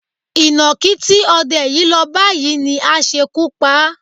Ìnákí tí o̩de̩ yìí lọ bá yìí ni á s̩ekú pa á.